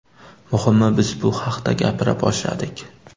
Muhimi, biz bu haqda gapira boshladik.